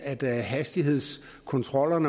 at hastighedskontroller